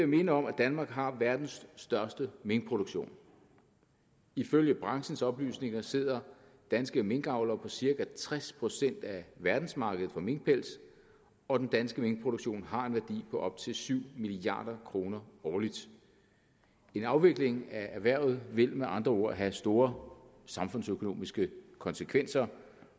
minde om at danmark har verdens største minkproduktion ifølge branchens oplysninger sidder danske minkavlere på cirka tres procent af verdensmarkedet for minkpels og den danske minkproduktion har en værdi på op til syv milliard kroner årligt en afvikling af erhvervet vil med andre ord have store samfundsøkonomiske konsekvenser